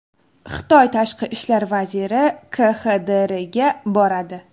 Xitoy tashqi ishlar vaziri KXDRga boradi.